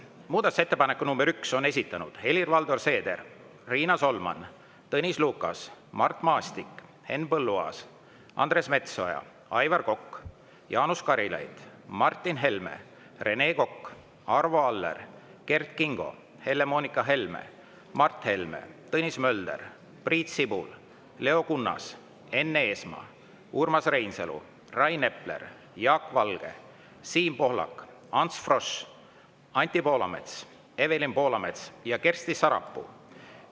Muudatusettepaneku nr 1 on esitanud Helir-Valdor Seeder, Riina Solman, Tõnis Lukas, Mart Maastik, Henn Põlluaas, Andres Metsoja, Aivar Kokk, Jaanus Karilaid, Martin Helme, Rene Kokk, Arvo Aller, Kert Kingo, Helle‑Moonika Helme, Mart Helme, Tõnis Mölder, Priit Sibul, Leo Kunnas, Enn Eesmaa, Urmas Reinsalu, Rain Epler, Jaak Valge, Siim Pohlak, Ants Frosch, Anti Poolamets, Evelin Poolamets ja Kersti Sarapuu.